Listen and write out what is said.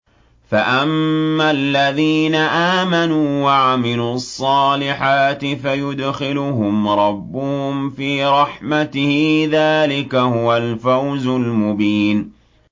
فَأَمَّا الَّذِينَ آمَنُوا وَعَمِلُوا الصَّالِحَاتِ فَيُدْخِلُهُمْ رَبُّهُمْ فِي رَحْمَتِهِ ۚ ذَٰلِكَ هُوَ الْفَوْزُ الْمُبِينُ